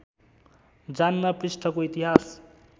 जान्न पृष्ठको इतिहास